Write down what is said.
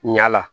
Ɲala